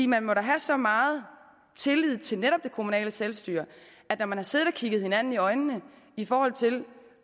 man må da have så meget tillid til netop det kommunale selvstyre at når man har siddet og kigget hinanden i øjnene i forhold til